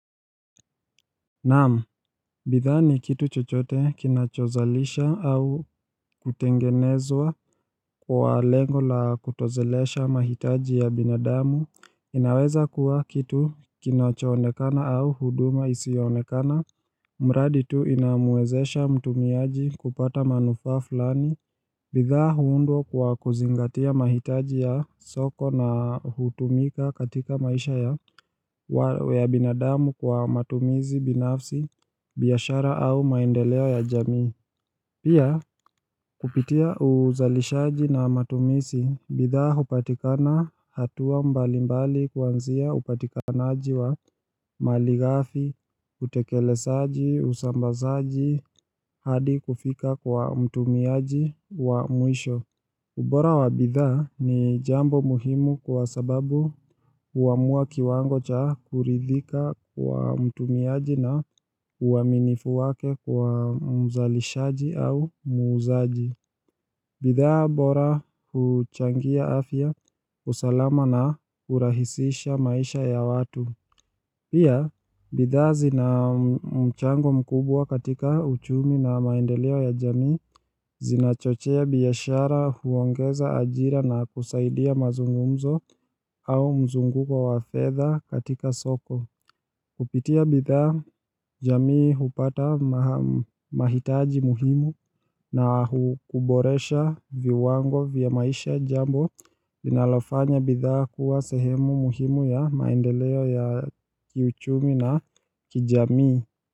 Naam, bidhaa ni kitu chochote kinachozalisha au kutengenezwa kwa lengo la kutoshelesha mahitaji ya binadamu, inaweza kuwa kitu kinachoonekana au huduma isiyoonekana, mradi tu inamwezesha mtumiaji kupata manufaa fulani. Bidhaa huundwa kwa kuzingatia mahitaji ya soko na hutumika katika maisha ya binadamu kwa matumizi binafsi, biashara au maendeleo ya jamii. Pia kupitia uzalishaji na matumizi, bidhaa hupatikana hatua mbali mbali kuanzia upatikanaji wa malighafi, utekelezaji, usambazaji, hadi kufika kwa mtumiaji wa mwisho. Ubora wa bidhaa ni jambo muhimu kwa sababu huamua kiwango cha kuridhika kwa mtumiaji na uaminifu wake kwa mzalishaji au muuzaji. Bidhaa bora huchangia afya, usalama na hurahisisha maisha ya watu. Pia, bidhaa zina mchango mkubwa katika uchumi na maendeleo ya jamii zinachochea biashara, huongeza ajira na kusaidia mazungumzo au mzunguko wa fedha katika soko. Kupitia bidhaa, jamii hupata mahitaji muhimu na huboresha viwango vya maisha jambo. Linalofanya bidhaa kuwa sehemu muhimu ya maendeleo ya kiuchumi na kijamii.